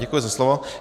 Děkuji za slovo.